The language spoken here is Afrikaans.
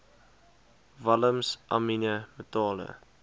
walms amiene metale